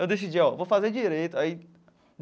Eu decidi, ó, vou fazer direito aí.